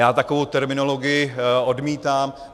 Já takovou terminologii odmítám.